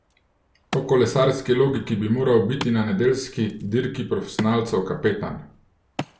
Po kolesarski logiki bi moral biti na nedeljski dirki profesionalcev kapetan.